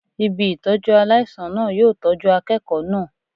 Ibi Ìtọ́jú aláìsàn náà yóò tọ́jú akẹ́kọ̀ọ́ náà.